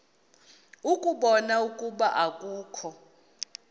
ukubona ukuba akukho